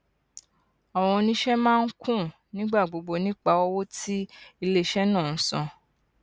àwọn oníṣe máa ń ń kùn nígbà gbogbo nípa owó tí iléiṣẹ náà ń san